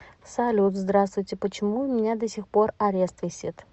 салют здравствуйте почему у меня досехпор орест весит